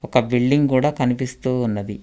ఒక బిల్డింగ్ కూడా కనిపిస్తూ ఉన్నది.